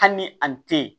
Hali ni a ni te ye